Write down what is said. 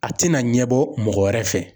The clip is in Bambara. A tɛna ɲɛbɔ mɔgɔ wɛrɛ fɛ.